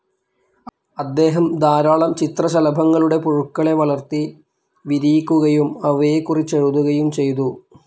അദ്ദേഹം ധാരാളം ചിത്രശലഭങ്ങളുടെ പുഴുക്കളെ വളർത്തി വിരിയിക്കുകയും അവയെക്കുറിച്ചെഴുതുകയും ചെയ്തു.